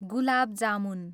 gulab jamun